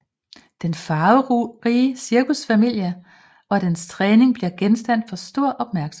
Den farverige cirkusfamilie og dens træning bliver genstand for stor opmærksomhed